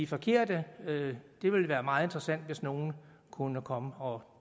forkerte det ville være meget interessant hvis nogen kunne komme og